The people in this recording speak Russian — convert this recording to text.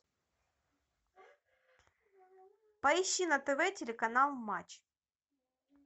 поищи на тв телеканал матч